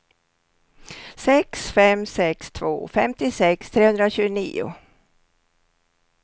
sex fem sex två femtiosex trehundratjugonio